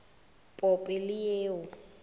pope leo